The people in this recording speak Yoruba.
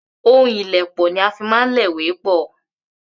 Ohun ìlèpọ̀ ní á má ń fi lè ìwé pọ́